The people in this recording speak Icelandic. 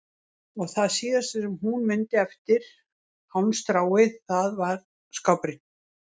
Og það síðasta sem hún mundi eftir hálmstráið það var skápurinn.